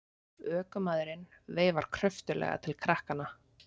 Ökumaðurinn veifar kröftuglega til krakkanna.